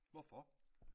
Hvorfor?